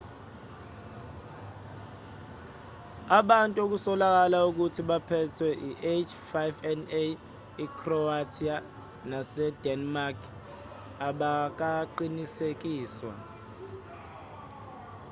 ubantu okusolakala ukuthi baphethwe i-h5n1 ecroatia nasedenmark abakaqinisekiswa